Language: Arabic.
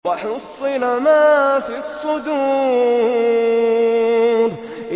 وَحُصِّلَ مَا فِي الصُّدُورِ